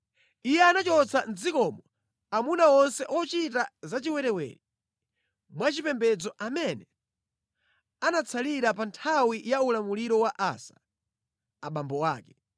Iye anachotsa mʼdzikomo amuna onse ochita zachiwerewere mwa chipembedzo amene anatsalira pa nthawi ya ulamuliro wa Asa, abambo ake.